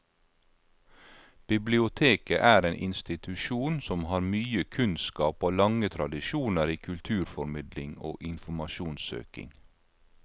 Biblioteket er en institusjon som har mye kunnskap og lange tradisjoner i kulturformidling og informasjonssøking.